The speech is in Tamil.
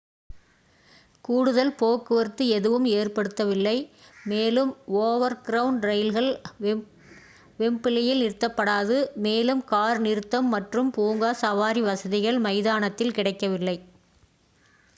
கூடுதல் போக்குவரத்து எதுவும் ஏற்படுத்தப்படவில்லை மேலும் ஓவர்க்ரவுண்ட் ரயில்கள் வெம்ப்லியில் நிறுத்தப்படாது மேலும் கார் நிறுத்தம் மற்றும் பூங்கா-சவாரி வசதிகள் மைதானத்தில் கிடைக்கவில்லை